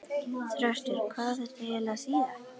Þröstur, hvað á þetta eiginlega að þýða?!